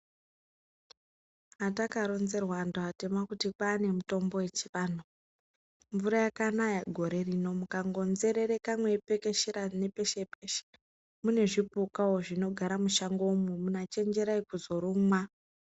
Atakaronzerws antu atema kuti kwane mitombo yechivantu mvura yakanaka gore rino meipekeshera ngenguwa mune zvupukawo zvinogara mushongamo chemjerai kuzorumwa.